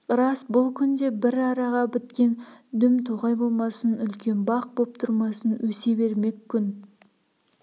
рас бұл күнде бір араға біткен дүм тоғай болмасын үлкен бақ боп тұрмасын өсе бермек күн